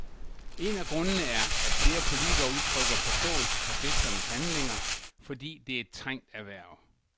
En af grundene er, at flere politikere udtrykker forståelse for fiskernes handlinger, fordi det er et trængt erhverv.